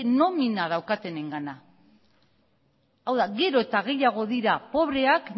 nomina daukatenengana hau da gero eta gehiago dira pobreak